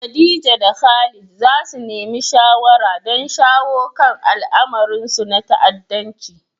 Khadija da Khalid za su nemi shawara don shawo kan al'amuransu na ta'addanci.